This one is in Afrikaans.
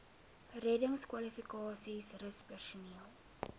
reddingskwalifikasies rus personeel